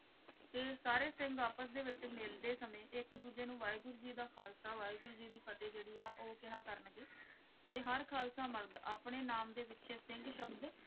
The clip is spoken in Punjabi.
ਤੇ ਸਾਰੇ ਸਿੰਘ ਆਪਸ ਦੇ ਵਿੱਚ ਮਿਲਦੇ ਸਮੇਂ ਇੱਕ-ਦੂਜੇ ਨੂੰ ਵਾਹਿਗੁਰੂ ਜੀ ਦਾ ਖ਼ਾਲਸਾ ਵਾਹਿਗੁਰੂ ਜੀ ਕੀ ਫ਼ਤਹਿ ਜਿਹੜੀ ਆ ਉਹ ਕਿਹਾ ਕਰਨਗੇ ਤੇ ਹਰ ਖ਼ਾਲਸਾ ਮਰਦ ਆਪਣੇ ਨਾਮ ਦੇ ਪਿੱਛੇ ਸਿੰਘ ਸ਼ਬਦ।